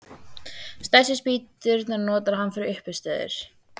Stærstu spýturnar notar hann fyrir uppistöður.